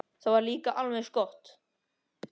Það var líka alveg eins gott.